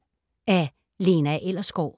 Af Lena Ellersgaard